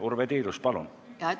Urve Tiidus, palun!